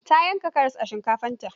Ta yanka karas a shinkafarta